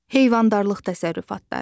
Heyvandarlıq təsərrüfatları.